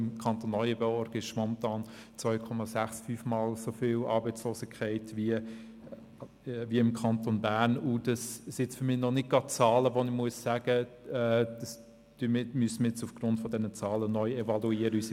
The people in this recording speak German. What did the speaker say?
Im Kanton Neuenburg gibt es also momentan eine 2,65-mal so hohe Arbeitslosigkeit wie im Kanton Bern, und das sind für mich jetzt noch nicht gerade Zahlen, bei denen ich sagen muss, wir müssten unsere Position nun aufgrund dieser Zahlen neu evaluieren.